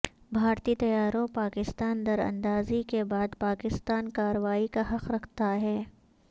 بھارتی طیاروں پاکستان در اندازی کے بعد پاکستان کارروائی کا حق رکھتا ہے